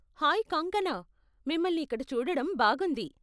Hi Kangkana, మిమల్ని ఇక్కడ చూడడం బాగుంది.